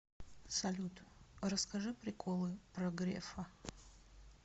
салют расскажи приколы про грефа